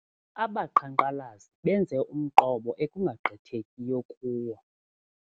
Abaqhankqalazi benze umqobo ekungagqithekiyo kuwo.